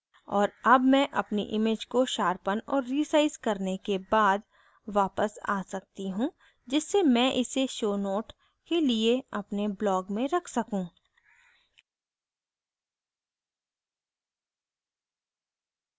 और अब मैं अपनी image को शार्पन और रीसाइज़ करने के बाद वापस आ सकती हूँ जिससे मैं इसे show notes के लिए अपने blog में रख सकूँ